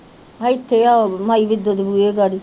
ਇੱਥੇ ਉਹ ਮਾਈ ਵਿਧੋ ਦੇ ਬੂਹੇ ਗਾੜੀ